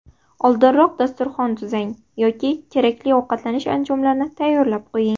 Oldinroq dasturxon tuzang yoki kerakli ovqatlanish anjomlarini tayyorlab qo‘ying.